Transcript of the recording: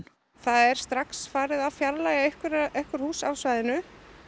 er strax farið að fjarlægja einhver einhver hús af svæðinu